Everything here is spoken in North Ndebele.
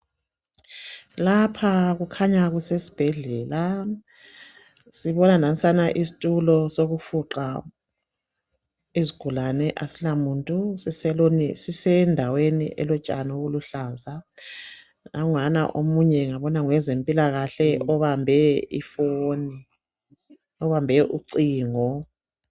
Lapha kukhanya kusesibhedlela sibona lesitulo sokufuqa izigulani kasilamuntu sisendaweni elotshani oluluhlaza nanguyana omunye laphana ngokwezempilakahle ubambe ucingo